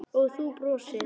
Og þú brosir.